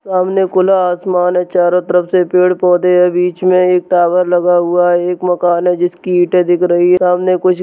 सामने खुला आसमान है चारों तरफ से पेड़-पौधे हैं। बीच में एक टावर लगा हुआ है। एक मकान है जिसकी ईंटे दिख रही हैं सामने कुछ --